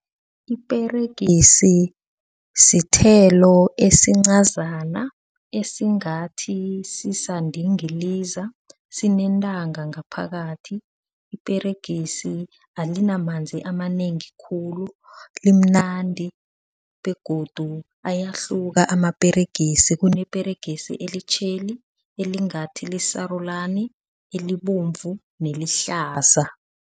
Iperegisi sithelo esincazana esingathi sisandingiliza sinentanga ngaphakathi. Iperegisi alinamanzi amanengi khulu. Limnandi begodu ayahluka amaperegisi kuneperegisi elitjheli, elingathi lisarulani, elibovu nelihlaza.